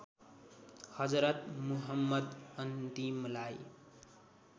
Hazrat Muhammad अन्तिमलाई